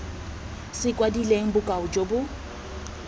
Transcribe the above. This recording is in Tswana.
se kwadilweng bokao jo bo